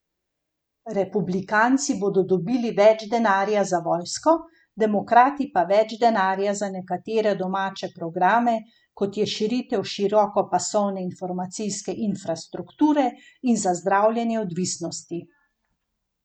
Republikanci bodo dobili več denarja za vojsko, demokrati pa več denarja za nekatere domače programe, kot je širitev širokopasovne informacijske infrastrukture in za zdravljenje odvisnosti.